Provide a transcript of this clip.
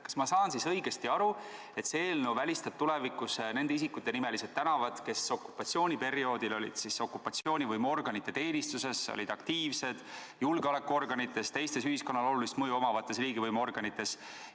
Kas ma saan õigesti aru, et see eelnõu välistab tulevikus nende isikute nimelised tänavad, kes olid okupatsiooniperioodil okupatsioonivõimuorganite teenistuses, olid aktiivsed julgeolekuorganites ja teistes ühiskonnale olulist mõju omavates riigivõimuorganites?